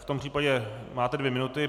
V tom případě máte dvě minuty.